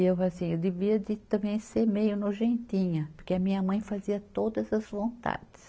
E eu falo assim, eu devia de também ser meio nojentinha, porque a minha mãe fazia todas as vontades.